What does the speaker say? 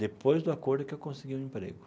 Depois do acordo que eu consegui um emprego.